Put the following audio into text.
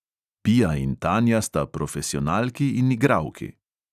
Pia in tanja sta profesionalki in igralki.